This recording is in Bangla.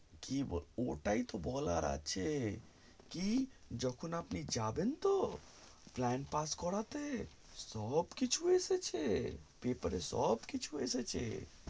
কি বল ওটাই তো বলার আসে কি যখন আপনি যাবেন তো claint pass করাতে সব কিছু এসেছে pepper এ সব কিছু এসেছে